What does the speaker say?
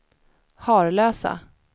Harlösa